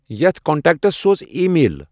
یَتھ کنٹکٹَس سوز ایی میل